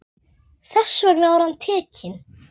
Þess vegna var hann tekinn.